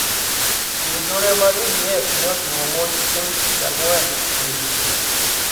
Jonjore mag ADF ne otimo monj chieng` tich ang`wen odiechieng`